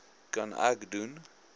kan ek doen